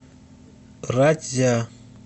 ратьзя